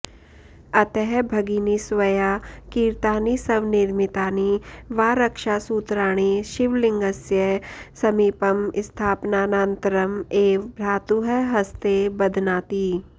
अतः भगिनी स्वया क्रीतानि स्वनिर्मितानि वा रक्षासूत्राणि शिवलिङ्गस्य समीपं स्थापनानन्तरम् एव भ्रातुः हस्ते बध्नाति